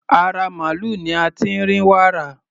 Ara màlúù ni a ti ń rí wàrà.